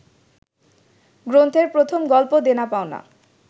গ্রন্থের প্রথম গল্প দেনা পাওনা